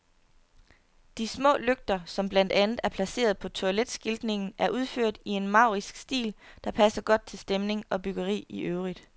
De små lygter, som blandt andet er placeret på toiletskiltningen, er udført i en maurisk stil, der passer godt til stemning og byggeri i øvrigt.